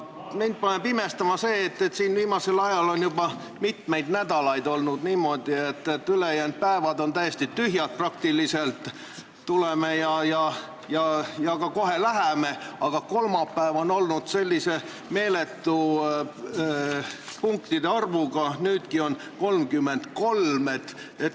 Mind paneb imestama, et juba mitmeid nädalaid on olnud niimoodi, et ülejäänud päevad on peaaegu täiesti tühjad, tuleme siia ja kohe ka läheme siit, aga kolmapäev on olnud meeletu punktide arvuga, nüüdki on neid 33.